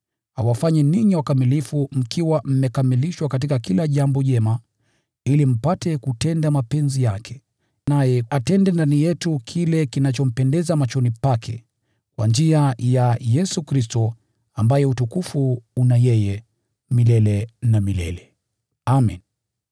awafanye ninyi wakamilifu mkiwa mmekamilishwa katika kila jambo jema ili mpate kutenda mapenzi yake, naye atende ndani yetu kile kinachompendeza machoni Pake, kwa njia ya Yesu Kristo, ambaye utukufu una yeye milele na milele. Amen.